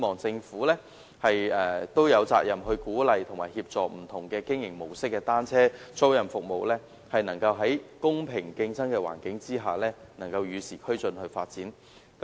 政府有責任鼓勵和協助不同經營模式的單車租賃服務，使之能夠在公平競爭的環境下與時俱進地發展。